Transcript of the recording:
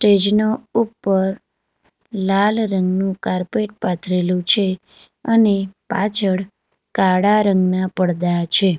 ઉપર લાલ રંગનું કારપેટ પાથરેલું છે અને પાછળ કાળા રંગના પરદા છે.